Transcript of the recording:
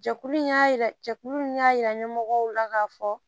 Jɛkulu in y'a yira jɛkulu in y'a yira ɲɛmɔgɔw la k'a fɔ